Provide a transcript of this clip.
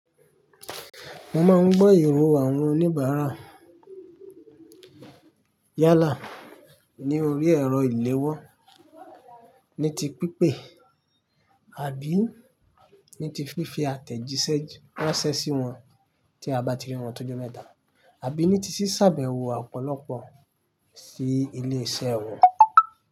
Mo máa ń beere lọwọ àwọn oníbàárà yálà ní orí ẹ̀rọ ìléwọ́, ní ti pípé àbí ní ti fífi àtẹ̀jíṣẹ́ ránṣẹ́ sí wọn tí a bá ti rí wọn tó jọ mẹ́ta, àbí ní ti ṣíṣábẹ̀wọ̀ ọ̀pọ̀lọpọ̀ sí ilé-iṣẹ́ wọn.